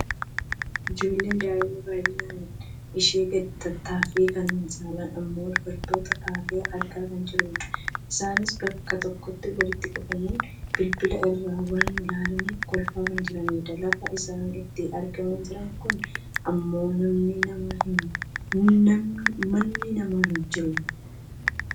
ijoollee daa'ima baayyinni ishee sadi taateefi kan saalaan ammoo dubartoota taate argaa kan jirrudha. isaanis bakka tokkotti walitti qabamuun bilbila irraa waa ilaalanii kolfaa kan jiranidha. lafa isaan itti argamaa jiran kana ammoo manni namaa hin jiru.